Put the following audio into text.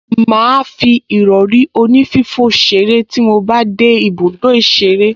Màá fi ìrọrí onífífò ṣeré tí mo bá dé ibùdó ìṣeré